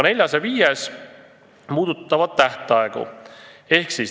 Neljas ja viies aga puudutavad tähtaegu.